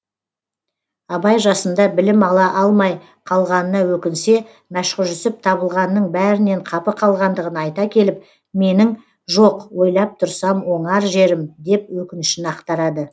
абай жасында білім ала алмай қалғанына өкінсе мәшһүр жүсіп табылғанның бәрінен қапы қалғандығын айта келіп менің жоқ ойлап тұрсам оңар жерім деп өкінішін ақтарады